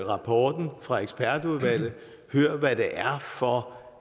rapporten fra ekspertudvalget og hør hvad det er for